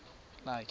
lakhe